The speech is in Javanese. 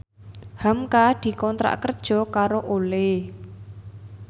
hamka dikontrak kerja karo Olay